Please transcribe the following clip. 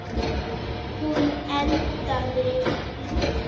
Hún endaði illa.